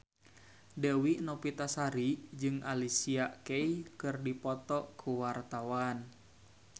Dewi Novitasari jeung Alicia Keys keur dipoto ku wartawan